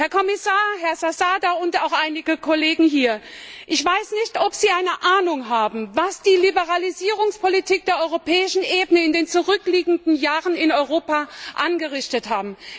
Herr Kommissar, Herr Zasada und auch einige Kollegen hier, ich weiß nicht, ob Sie eine Ahnung haben, was die Liberalisierungspolitik der europäischen Ebene in den zurückliegenden Jahren in Europa angerichtet hat!